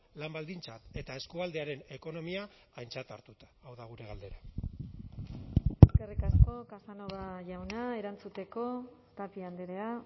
lan baldintzak eta eskualdearen ekonomia aintzat hartuta hau da gure galdera eskerrik asko casanova jauna erantzuteko tapia andrea